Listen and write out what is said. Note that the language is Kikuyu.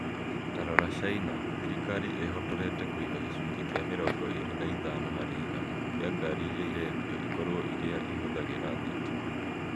Ta rora China. Thirikari ĩĩhotorete kũiga gĩcunjĩ kĩa mĩrongo eerĩ na ithano harĩ igana kĩa ngaari iria irendio ikorwo iria ihũthagĩra thitima.